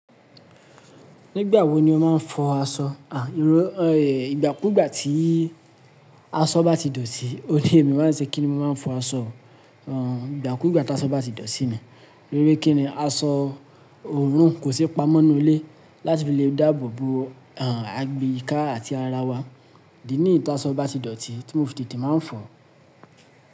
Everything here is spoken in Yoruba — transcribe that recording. Nígbà wo ni o máa ń fọ aṣọ? À, ìgbà kú ìgbà tí aṣọ bá ti dọ̀tí, òní èmi máa ń ṣe kíni mo máa ń fọ aṣọ. À, ìgbà kú ìgbà tí aṣọ bá ti dọ̀tí ni. Lórí kíni aṣọ òórùn kò sí pamọ́ nínú ilé láti fi lè dáàbò bo, à, àyìka àti ara wa. Idí níi ti aṣọ bá ti dọ̀tí, tí mo fi tete máa ń fọ̀.